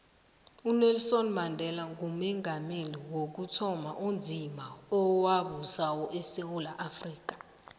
unelson mandela ngumongameli wokuthoma onzima owabusako esewula afrika